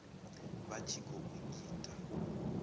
vha tshi khou i ita